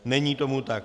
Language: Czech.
Není tomu tak.